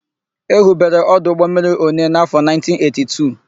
E hubere ọdụ ụgbọmmiri Onee n'áfọ̀ 1982.